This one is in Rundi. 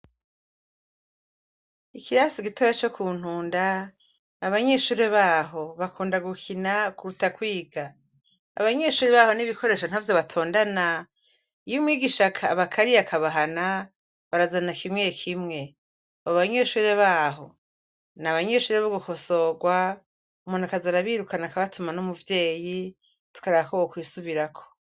Ikirasi gitoya co kuntunda abanyeshure baho bakunda gukina kuruta kwiga, abanyeshure baho n'ibikoresho ntavyo batondana iyo umwigisha abakariye ,akabahana barazana kimwe kimwe, abo banyeshure baho n'abanyeshure bo gukosorwa, umuntu akaza arabirukana akabatuma n'umuvyeyi tukaraba ko bokwisubirako.